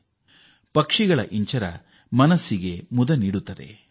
ಹಕ್ಕಿ ಪಕ್ಷಿಗಳ ಕಲರವ ನಮ್ಮ ಹೃನ್ಮನ ಸೆಳೆಯುತ್ತವೆ